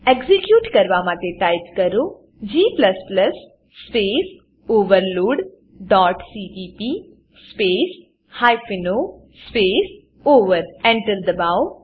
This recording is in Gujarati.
એક્ઝીક્યુટ કરવા માટે ટાઈપ કરો g space overload dot CPP space hyphen O space over Enter દબાવો